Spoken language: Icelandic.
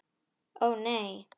Ó, nei.